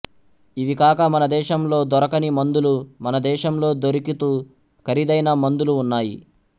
ఇవికాక మనదేశంలో దొరకని మందులు మనదేశంలొ దొరికుతు ఖరీదైన మందులు ఉన్నాయి